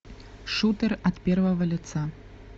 шутер от первого лица